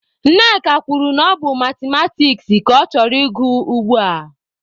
Nneka kwuru na ọ bụ Mathematiks ka ọ chọrọ ị gụ ugbua.